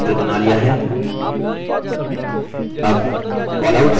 हमने जलचक्र आकृति का चित्र बना लिया है